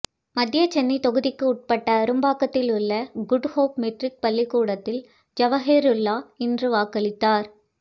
மத்திய சென்னை தொகுதிக்கு உட்பட்ட அரும்பாக்கத்தில் உள்ள குட் ஹோப் மெட்ரிக் பள்ளிக்கூடத்தில் ஜவாஹிருல்லா இன்று வாக்களித்தார்